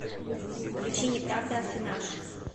включи неправда аффинаж